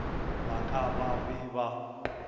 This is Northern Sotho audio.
ba ka ba be ba